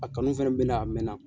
A kanu fɛnɛ bɛ n na a mɛn na.